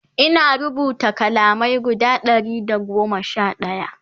Ina rubuta kalamai guda Ɗari da goma Sha ɗaya